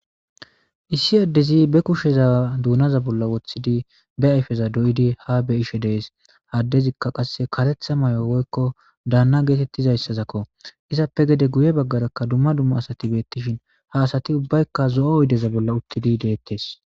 issi addezi be kusheza duunaza bolla woththidi be ayfeza doyidi ha be ishe dees haddezikka qasse kaletha may7o woykko daanna geetettizayssazakko izappe gede guye baggarakka dumma dumma asati beettishin ha asati ubbaykka zo7o oydeza bolla uttidi deettes